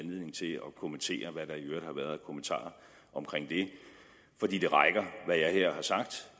kommentere hvad der i øvrigt har været af kommentarer omkring det fordi det rækker hvad jeg her har sagt